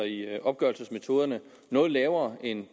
i opgørelsesmetoderne noget lavere end